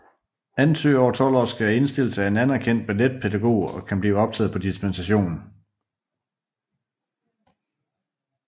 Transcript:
Ansøgere over 12 år skal indstilles af en anerkendt balletpædagog og kan blive optaget på dispensation